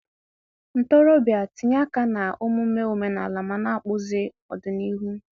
Ntorobịa, tinye aka n'omume omenala ma na-akpụzi ọdịnihu.